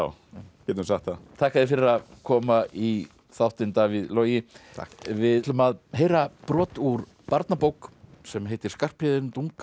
við getum sagt það þakka þér fyrir að koma í þáttinn Davíð Logi takk við ætlum að heyra brot úr barnabók sem heitir Skarphéðin